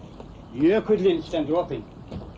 jökullinn stendur opinn